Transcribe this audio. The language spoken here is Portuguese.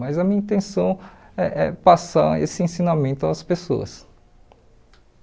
Mas a minha intenção é é passar esse ensinamento às pessoas.